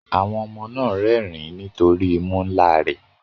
Àwọn ọmọ náà ń rẹ́rìn-ín nítorí imú ńlá rẹ̀